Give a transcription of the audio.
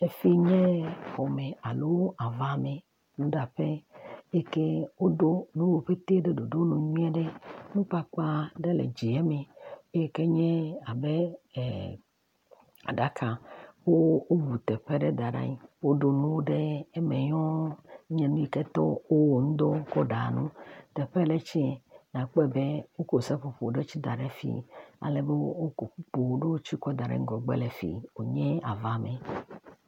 Teƒee nye yɛ. Xɔme alo avame eyi ke woɖo nuwo ƒete ɖe ɖoɖonu nyuieɖe. Nukpakpa ɖe le dzieme eyi ke nye abe ɛɛɛ aɖaka. Wo, woŋu teƒe ɖe da ɖe anyi. Woɖo nuwo ɖe eme nyɔɔɔ enye nu yi ke tɔ wowɔ eŋu dɔ kɔ ɖaa nu. Teƒe yi le tsɛ nakpɔe be wokɔ seƒoƒo ɖe tsɛ da ɖe fii. Alebe wokɔ kpukpu ɖewo tsɛ da ɖe ŋgɔgbe le fii wònye avame.